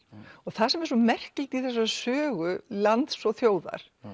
það sem er svo merkilegt í þessari sögu lands og þjóðar